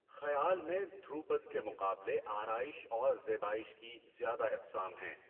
خیال میں دھروپد کے مقابلے آرائش اور زیبائش کی زیادہ اقسام ہیں۔